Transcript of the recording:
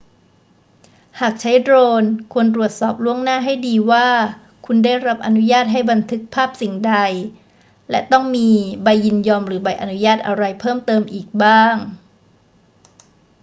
หากใช้โดรน ควรตรวจสอบล่วงหน้าให้ดีว่าคุณได้รับอนุญาตให้บันทึกภาพสิ่งใด และต้องมีใบยินยอมหรือใบอนุญาตอะไรเพิ่มเติมอีกบ้าง